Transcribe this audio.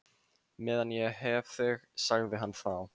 Meðan ég hef þig sagði hann þá.